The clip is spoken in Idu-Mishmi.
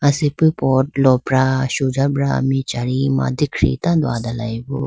asipi pot lopra sujabra michari mandikhi tando adalayibo.